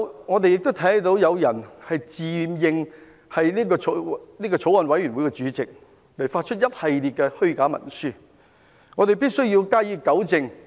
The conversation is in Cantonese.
我們看到有人自認法案委員會的主席，發出一系列虛假文書，大家必須加以糾正。